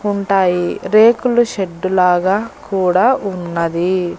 ఉంటాయి రేకుల షెడ్డు లాగా కూడా ఉన్నది.